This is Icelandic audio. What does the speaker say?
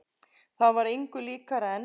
Það var engu líkara en.